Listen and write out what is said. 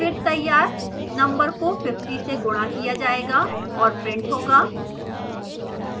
फिर तैयार number को 50 से गुणा किया जायेगा और printed होगा